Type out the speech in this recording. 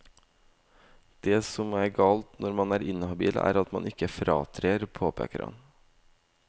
Det som er galt når man er inhabil, er at man ikke fratrer, påpeker han.